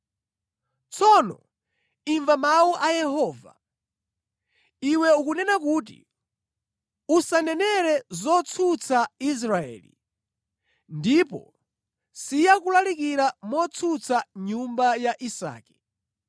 Tsono imva mawu a Yehova. Iwe ukunena kuti, “ ‘Usanenere zotsutsa Israeli, ndipo siya kulalikira motsutsa nyumba ya Isake.’ ”